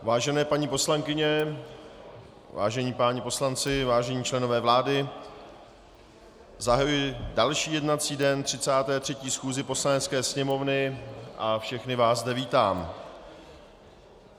Vážené paní poslankyně, vážení páni poslanci, vážení členové vlády, zahajuji další jednací den 33. schůze Poslanecké sněmovny a všechny vás zde vítám.